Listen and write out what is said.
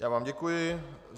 Já vám děkuji.